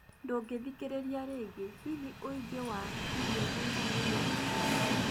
Ndũngĩthikĩrĩria rĩngi, hihi ũigi wa irio Tanzania nĩmũiganu?